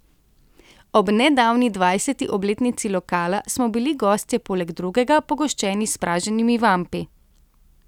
Ob nedavni dvajseti obletnici lokala smo bili gostje poleg drugega pogoščeni s praženimi vampi.